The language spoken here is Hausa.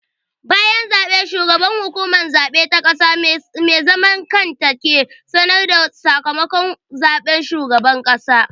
Bayan zaɓe, shugaban Hukumar Zaɓe ta ƙasa mai zaman kanta ke sanar da sakamakon zaɓen shugaban ƙasa.